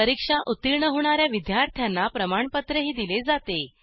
परीक्षा उत्तीर्ण होणा या विद्यार्थ्यांना प्रमाणपत्रही दिले जाते